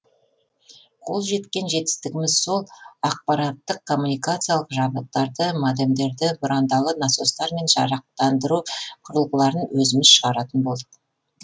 қол жеткен жетістігіміз сол ақпараттық коммуникациялық жабдықтарды модемдерді бұрандалы насостар мен жарықтандыру құрылғыларын өзіміз шығаратын болдық